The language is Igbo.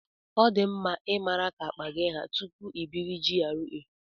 Ọ di mma ị mara ka akpa gị haa tupu ị biri na GRA.